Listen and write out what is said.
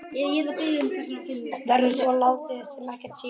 Verður svo látið sem ekkert sé?